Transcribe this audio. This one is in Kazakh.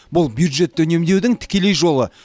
бұл бюджетті үнемдеудің тікелей жолы